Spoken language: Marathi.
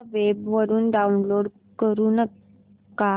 या वेब वरुन डाऊनलोड करू का